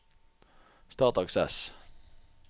Start Access